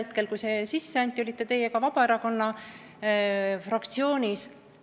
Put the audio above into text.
Sel ajal, kui see üle anti, olite teie ka Vabaerakonna fraktsioonis.